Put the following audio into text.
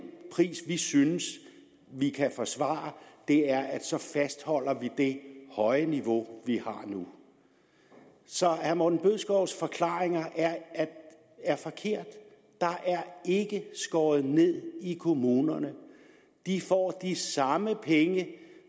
pris vi synes vi kan forsvare er at vi så fastholder det høje niveau vi har nu så herre morten bødskovs forklaringer er forkerte der er ikke skåret ned i kommunerne de får de samme penge